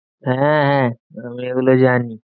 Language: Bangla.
হ্যাঁ হ্যাঁ আমি এগুলো জানি।